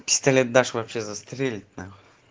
пистолет дашь вообще застрелит нахуй